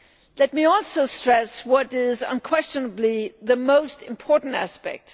Let me also stress what is unquestionably the most important aspect.